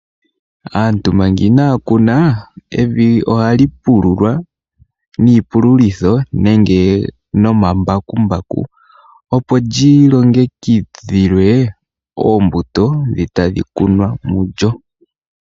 Aantu manga inaakuna evi ohali pululwa niipululitho nenge nomambakumbaku opo lyilongekidhilwe oombuto dhi tadhikunwa mulyo.